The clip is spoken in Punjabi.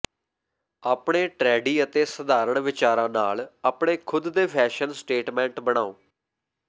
ਆਪਣੇ ਟ੍ਰੈਡੀ ਅਤੇ ਸਧਾਰਣ ਵਿਚਾਰਾਂ ਨਾਲ ਆਪਣੇ ਖੁਦ ਦੇ ਫੈਸ਼ਨ ਸਟੇਟਮੈਂਟ ਬਣਾਓ